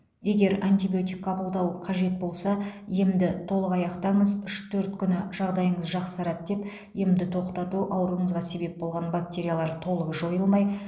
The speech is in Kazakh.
егер антибиотик қабылдау қажет болса емді толық аяқтаңыз үш төрт күні жағдайым жақсарады деп емді тоқтату ауруыңызға себеп болған бактериялар толық жойылмай